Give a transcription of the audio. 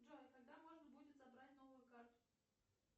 джой когда можно будет забрать новую карту